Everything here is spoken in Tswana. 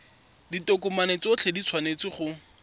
ditokomane tsotlhe di tshwanetse go